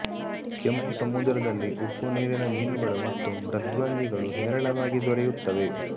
ಕೆಂಪುಸಮುದ್ರದಲ್ಲಿ ಉಪ್ಪು ನೀರಿನ ಮೀನುಗಳು ಮತ್ತು ಮೃದ್ವಂಗಿಗಳು ಹೇರಳವಾಗಿ ದೊರೆಯುತ್ತವೆ